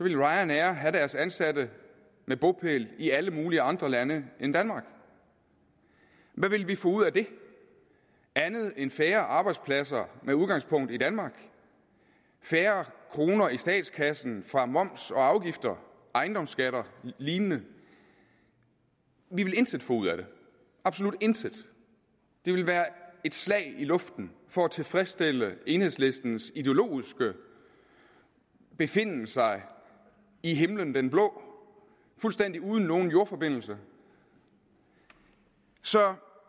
ryanair have deres ansatte med bopæl i alle mulige andre lande end danmark hvad ville vi få ud af det andet end færre arbejdspladser med udgangspunkt i danmark færre kroner i statskassen fra moms og afgifter ejendomsskatter og lignende vi ville intet få ud af det absolut intet det ville være et slag i luften for at tilfredsstille enhedslistens ideologiske befinden sig i himlen blå fuldstændig uden nogen jordforbindelse så